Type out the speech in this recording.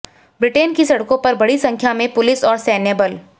Britain की सड़कों पर बड़ी संख्या में पुलिस और सैन्यबल